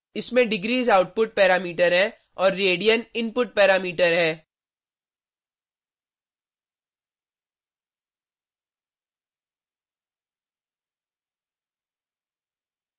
इसमें degrees output parameter हैं और रेडियन इनपुट पैरामीटर है